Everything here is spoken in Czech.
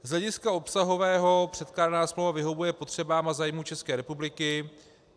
Z hlediska obsahového předkládaná smlouva vyhovuje potřebám a zájmům České republiky.